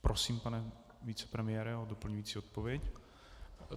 Prosím, pane vicepremiére o doplňující odpověď.